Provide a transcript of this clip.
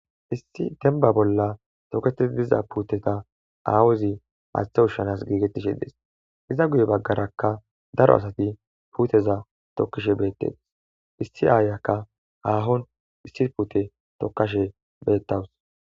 issi denba bolla toketii diza puuteta aawuzi maaththa ushshanas giigettishe dees iza guye baggarakka daro asati puuteza tokkishe beettes issi aayaka haahon issi puute tokkashe beettawus